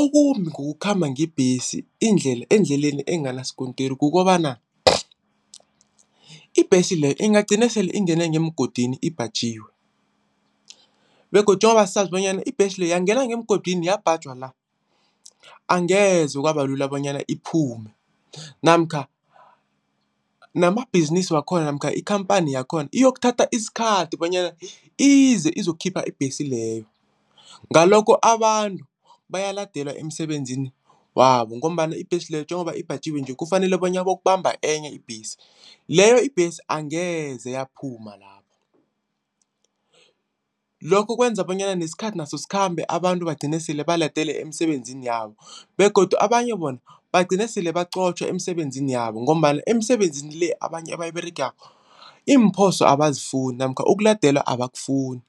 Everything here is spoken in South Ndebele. Okumbi ngokukhamba ngebhesi indlela endleleni enganasikontiri kukobana ibhesi leyo ingagcina sele ingene ngemgodini ibhajiwe begodu njengoba sazi bonyana ibhesi le uyangena ngemgodini yabhajwa la, angeze kwaba lula bonyana iphume namkha namabhizinisi wakhona namkha ikhamphani yakhona iyokuthatha isikhathi bonyana ize izokukhipha ibhesi leyo. Ngalokho abantu bayaladelwe emsebenzini wabo ngombana ibhesi leyo, njengoba ibhajiwe nje kufanele bona bayokubamba enye ibhesi. Leyo ibhesi angeze yaphuma lapho. Lokho kwenza bonyana nesikhathi naso sikhambe abantu bagcine sele baladelwe emisebenzini yabo begodu abanye bona bagcine sele baqotjhwa emisebenzini yabo ngombana emsebenzini le, abanye abayiberegako iimphoso abasazifuni namkha ukuladelwa abakufuni.